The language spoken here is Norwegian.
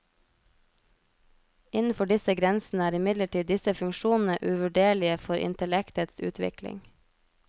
Innenfor disse grensene er imidlertid disse funksjonene uvurderlige for intellektets utvikling.